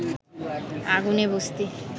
আগুনে বস্তির